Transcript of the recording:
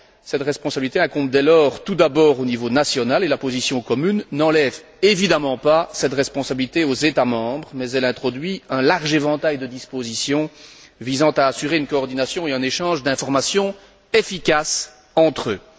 Cette responsabilité incombe dès lors, tout d'abord, au niveau national et la position commune n'enlève évidemment pas cette responsabilité aux États membres mais elle introduit un large éventail de dispositions visant à assurer une coordination et un échange d'informations efficaces entre eux.